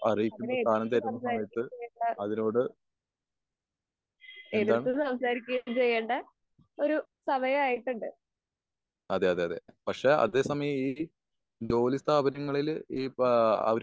അർഹിക്കുന്ന സാധനം തരുന്ന സമയത്ത് അതിനോട് എന്താ? അതെ അതെ അതെ പക്ഷെ അതേ സമയം ഈ ജോലിസ്ഥാപനങ്ങളിൽ ഈ ഇപ്പൊ